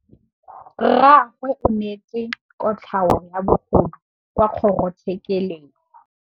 Rragwe o neetswe kotlhaô ya bogodu kwa kgoro tshêkêlông.